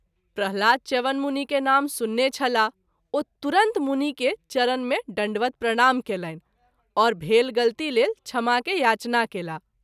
प्रह्लाद च्यवन मुनि के नाम सुनने छलाह ओ तुरत मुनि के चरण मे दण्डवत् प्रणाम कएलनि आओर भेल गलती लेल क्षमा के याचना कएलाह।